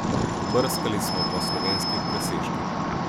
Pobrskali smo po slovenskih presežkih.